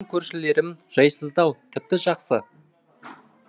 менің көршілерім жайсыздау тіпті жақсы